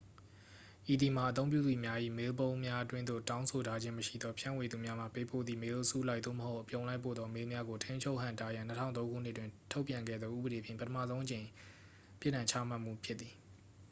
ဤသည်မှာ အသုံးပြုသူများ၏ မေးလ်ပုံးများအတွင်းသို့ တောင်းဆိုထားခြင်းမရှိသောဖြန့်ဝေသူများမှ ပေးပို့သည့် မေးလ်အစုလိုက် သို့မဟုတ် အပြုံလိုက်ပို့သော မေးလ်များကို ထိန်းချုပ်ဟန့်တားရန် 2003 ခုနှစ်တွင် ထုတ်ပြန်ခဲ့သော ဥပဒေဖြင့် ပထမဆုံးအကြိမ် ပြစ်ဒဏ်ချမှတ်မှုဖြစ်သည်